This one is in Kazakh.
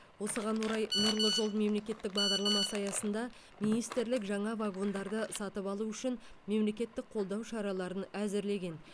осыған орай нұрлы жол мемлекеттік бағдарламасы аясында министрлік жаңа вагондарды сатып алу үшін мемлекеттік қолдау шараларын әзірлеген